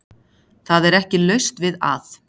Það er ekki laust við að